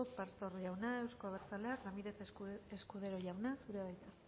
pastor jauna euzko abertzaleak ramírez escudero jauna zurea da hitza